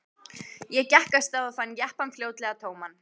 Ég gekk af stað og fann jeppann fljótlega tóman.